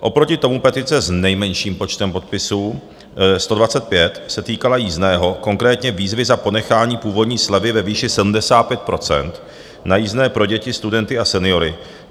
Oproti tomu petice s nejmenším počtem podpisů - 125 - se týkala jízdného, konkrétně výzvy za ponechání původní slevy ve výši 75 % na jízdné pro děti, studenty a seniory.